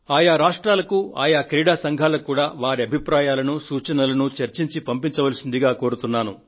ఆయా రాష్ట్రాలకు ఆయా క్రీడా సంఘాలకు కూడా వారి వారి అభిప్రాయాలను సూచనలను చర్చించి పంపించవలసిందిగా కోరుతున్నాను